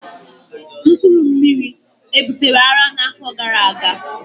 mpkuru mmiri e butere ara na afo gara aga?